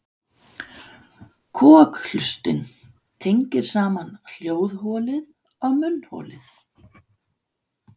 Kokhlustin tengir saman hljóðholið og munnholið.